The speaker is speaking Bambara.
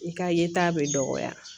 I ka yeta bɛ dɔgɔya